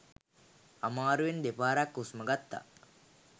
අමාරුවෙන් දෙපාරක් හුස්ම ගත්තා